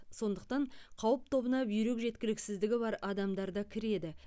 сондықтан қауіп тобына бүйрек жеткіліксіздігі бар адамдар да кіреді